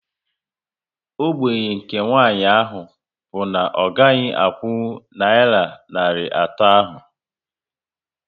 Ógbènye nke nwanyị ahụ bụ na ọ gaghị akwụnkwụ nayira narị atọ ahu